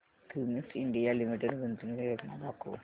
Cummins India limited गुंतवणूक योजना दाखव